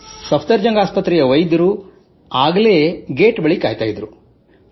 ಸಫ್ದರ್ ಜಂಗ್ ಆಸ್ಪತ್ರೆಯ ವೈದ್ಯರು ಆಗಲೇ ಗೇಟ್ ಬಳಿ ಕಾಯುತ್ತಿದ್ದರು